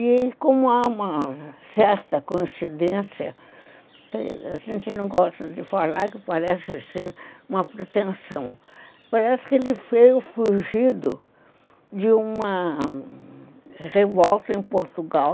E como há uma certa coincidência, a gente não gosta de falar que parece assim uma pretensão, parece que ele veio fugido de uma revolta em Portugal,